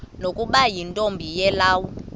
nokuba yintombi yelawu